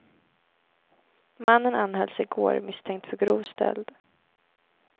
Mannen anhölls i går misstänkt för grov stöld.